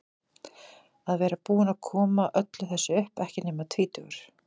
Að vera búinn að koma öllu þessu upp, ekki nema tvítugur.